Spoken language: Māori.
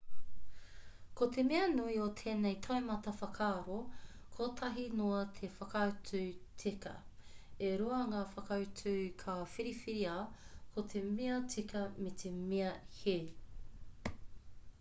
ko te mea nui o tēnei taumata whakaaro kotahi noa te whakautu tika e rua ngā whakautu ka whiriwhiria ko te mea tika me te mea hē